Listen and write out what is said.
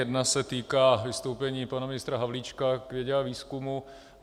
Jedna se týká vystoupení pana ministra Havlíčka k vědě a výzkumu.